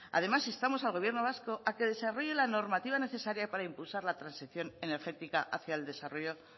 además instamos al gobierno vasco a que desarrolle la normativa necesaria para impulsar la transición energética hacia el desarrollo